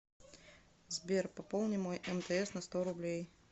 сбер пополни мой мтс на сто рублей